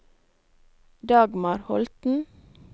Dagmar Holten